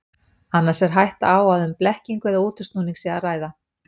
Annars er hætta á að um blekkingu eða útúrsnúning sé að ræða.